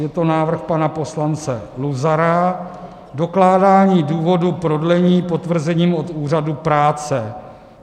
Je to návrh pana poslance Luzara - dokládání důvodu prodlení potvrzením od úřadu práce.